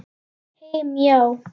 Heim, já.